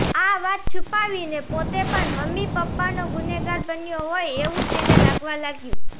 આ વાત છુપાવીને પોતે પણ મમ્મી પપ્પાનો ગુનેગાર બન્યો હોય એવું તેને લાગવા લાગ્યું